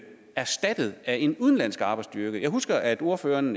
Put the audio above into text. erstattet af en udenlandsk arbejdsstyrke jeg husker at ordføreren